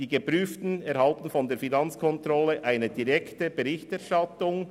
Die Geprüften erhalten von der Finanzkontrolle eine direkte Berichterstattung.